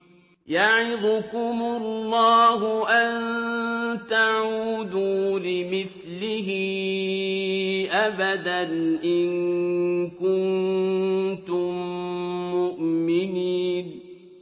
يَعِظُكُمُ اللَّهُ أَن تَعُودُوا لِمِثْلِهِ أَبَدًا إِن كُنتُم مُّؤْمِنِينَ